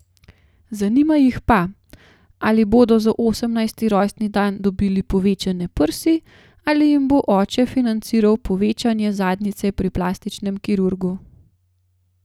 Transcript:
Zanima jih pa, ali bodo za osemnajsti rojstni dan dobili povečane prsi, ali jim bo oče financiral povečanje zadnjice pri plastičnem kirurgu ...